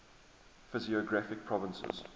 physiographic provinces